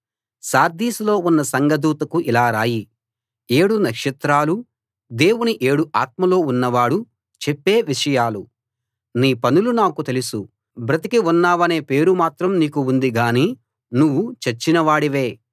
సార్దీస్‌లో ఉన్న సంఘదూతకు ఇలా రాయి ఏడు నక్షత్రాలూ దేవుని ఏడు ఆత్మలూ ఉన్నవాడు చెప్పే విషయాలు నీ పనులు నాకు తెలుసు బ్రతికి ఉన్నావనే పేరు మాత్రం నీకు ఉంది గానీ నువ్వు చచ్చిన వాడివే